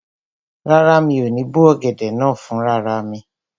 Rárá, mi ò ní bó ọ̀gẹ̀dẹ̀ náà fún rara mi